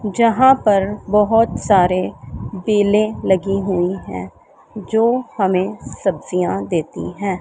जहां पर बहोत सारे बेलें लगी हुई है जो हमें सब्जियां देती हैं।